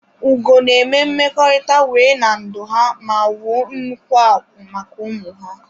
Ugo na eme mmekọrịta wee na ndụ ha ma wuo nnukwu akwụ́ maka ụmụ ha.